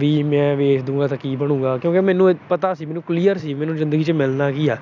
ਵੀ ਮੈਂ ਵੇਚ ਦੂੰਗਾ ਤਾਂ ਕੀ ਬਣੂਗਾ ਕਿਉਂਕਿ ਮੈਨੂੰ ਪਤਾ ਸੀ, ਮੈਂ clear ਸੀ ਮੈਨੂੰ ਜਿੰਦਗੀ ਚ ਮਿਲਣਾ ਕੀ ਆ